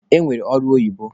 E nwere ọrụ oyibo.